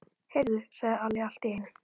Heyrðu, sagði Alli allt í einu.